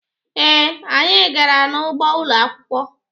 Ee, anyị gara n'ugbo ụlọ akwukwọ.